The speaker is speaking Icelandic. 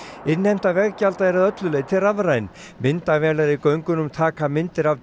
innheimta veggjalda er að öllu leyti rafræn myndavélar í göngunum taka myndir af